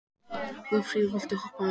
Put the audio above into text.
Guðfríður, viltu hoppa með mér?